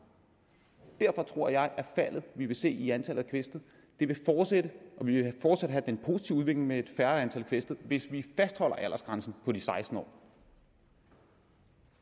derfor tror jeg at det vi vil se i antallet af kvæstede vil fortsætte vi vil fortsat have den positive udvikling med et færre antal kvæstede hvis vi fastholder aldersgrænsen på seksten år